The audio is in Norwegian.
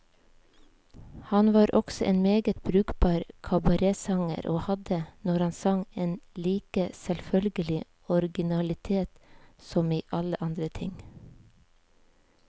Han var også en meget brukbar kabaretsanger, og hadde, når han sang, en like selvfølgelig originalitet som i alle andre ting.